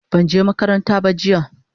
banje makaranta ba jiya